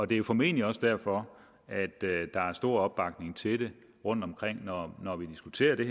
det er formentlig også derfor der er stor opbakning til det rundtomkring når når vi diskuterer det